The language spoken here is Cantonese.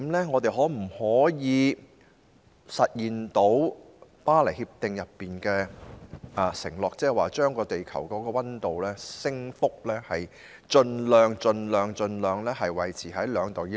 我們可否實現《巴黎協定》的承諾，將地球溫度的升幅盡量維持在 2°C 以內？